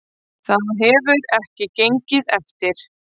Það hefur ekki gengið eftir